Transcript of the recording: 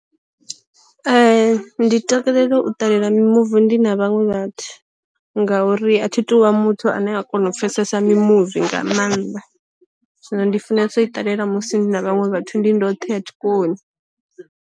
Ee ndi takalela u ṱalela mimuvi ndi na vhaṅwe vhathu, ngauri a thi tuvha muthu ane a kona u pfesesa mi muvi nga maanḓa, zwino ndi funesa u i ṱalela musi ndi na vhaṅwe vhathu, ndi ndoṱhe a thi koni.